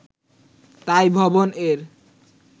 তাই 'ভবন'-এর